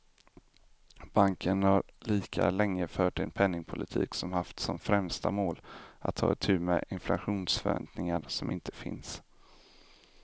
Banken har lika länge fört en penningpolitik som haft som främsta mål att ta itu med inflationsförväntningar som inte finns.